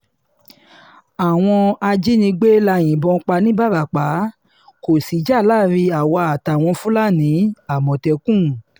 àwọn ajínigbé la yìnbọn pa nìbarapá kó sìjà láàrin àwa àtàwọn fúlàní-àmọ̀tẹ́kùn